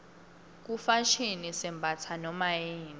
kufashini sembatsa nomayini